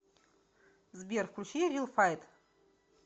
сбер включи рил файт